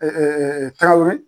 Tarawere.